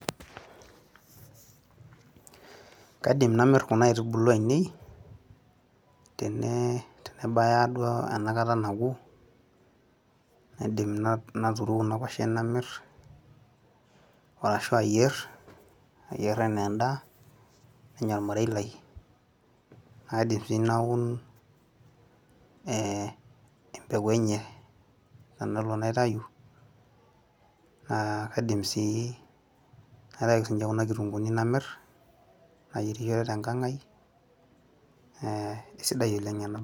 [pauser]kaidim namirr kuna aitubulu ainei tene, tenebaya duo enakata naku naidim naturu kuna kuashen namirr orashu ayierr, ayierr enaa endaa nenya ormarei lai naidim sii naun eh, empeku enye tenelo naitayu naa kaidim sii naitayu ake sinche kuna kitunguuni namirr nayierishore tenkang ai eh, eisidai oleng ena.